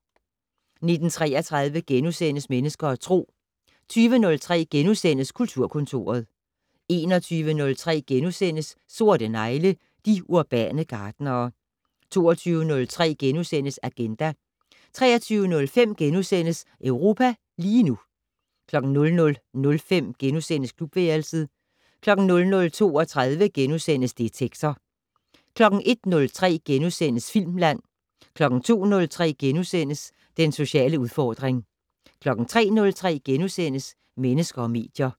19:33: Mennesker og Tro * 20:03: Kulturkontoret * 21:03: Sorte negle: De urbane gartnere * 22:03: Agenda * 23:05: Europa lige nu * 00:05: Klubværelset * 00:32: Detektor * 01:03: Filmland * 02:03: Den sociale udfordring * 03:03: Mennesker og medier *